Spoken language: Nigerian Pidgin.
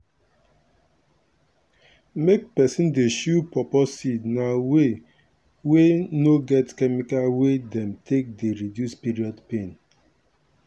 make peson dey chew pawpaw seed na way wey no get chemical wey dem take dey reduce period pain.